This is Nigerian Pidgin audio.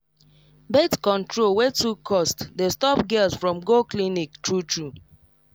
birth control wey too cost dey stop girls from go clinic true true